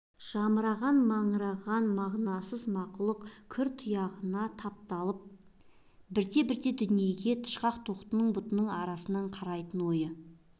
жамыраған маңыраған мазасыз мақұлықтың кір тұяғына тапталып бірте-бірте дүниеге тышқақ тоқтының бұтының арасынан қарайтын ойы